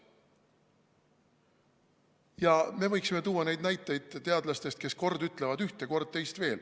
Ja me võiksime tuua veel näiteid teadlastest, kes kord ütlevad ühte, kord teist.